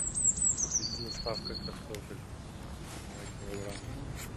купить с доставкой картофель два килограмма